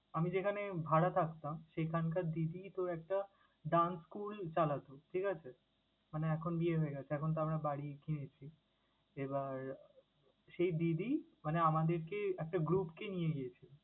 আমি যেখানে ভাড়া থাকতাম সেখানকার দিদি তোর একটা dance school চালাতো, ঠিক আছে? মানে এখন বিয়ে হয়ে গেছে। এখন তো আমরা বাড়ি কিনেছি। এবার সেই দিদি মানে আমাদেরকে একটা group কে নিয়ে গিয়েছে।